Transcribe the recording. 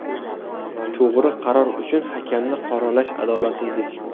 To‘g‘ri qaror uchun hakamni qoralash adolatsizlik”.